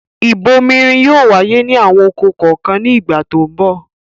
Ìbomirin yóò wáyé ní àwọn oko kọ̀ọ̀kan ní ìgbà tó ń bọ̀.